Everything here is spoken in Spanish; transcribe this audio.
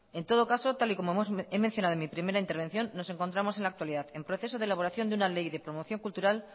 en todo caso tal y como he mencionado en mi primera intervención nos encontramos en la actualidad en proceso de elaboración de una ley de promoción cultural